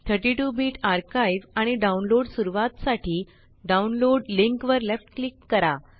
32 bit archive आणि download सुरवातासाठी download link वर लेफ्ट क्लिक करा